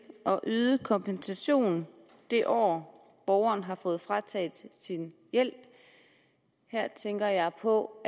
at yde kompensation det år borgeren har fået frataget sin hjælp her tænker jeg på